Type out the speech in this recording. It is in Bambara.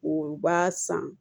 O b'a san